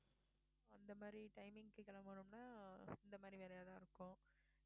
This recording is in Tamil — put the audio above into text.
அந்த மாதிரி timing க்கு கிளம்பணும்னா இந்த மாதிரி வேலையா தான் இருக்கும்